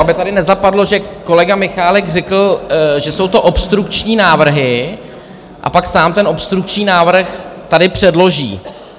Aby tady nezapadlo, že kolega Michálek řekl, že jsou to obstrukční návrhy, a pak sám ten obstrukční návrh tady předloží.